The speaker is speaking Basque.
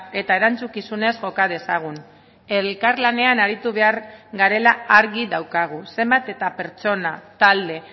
eta erantzukizunez joka dezagun elkarlanean aritu behar garela argi daukagu zenbat eta pertsona talde